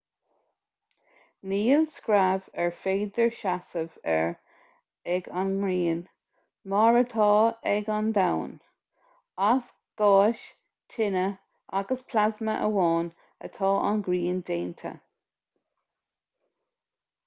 níl screamh ar féidir seasamh air ag an ngrian mar atá ag an domhan as gáis tine agus plasma amháin atá an ghrian déanta